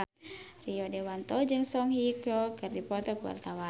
Rio Dewanto jeung Song Hye Kyo keur dipoto ku wartawan